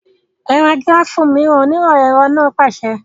Ẹ ra gíráfù mìíràn! onímọ̀ ẹ̀rọ náà pàṣẹ.